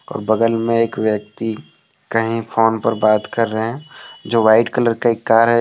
और बगल में एक व्यक्ति कहीं फोन पर बात कर रहे हैं जो वाइट कलर का एक कार है।